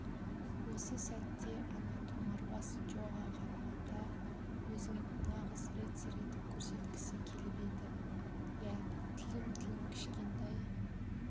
осы сәтте ана томарбас джоға қарағанда өзін нағыз рыцар етіп көрсеткісі келіп еді иә тілім-тілім кішкентай